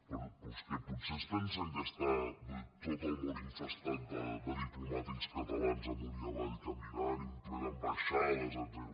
però és que potser es pensen que està tot el món infestat de diplomàtics catalans amunt i avall caminant i ple d’ambaixades etcètera